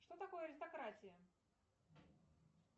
что такое аристократия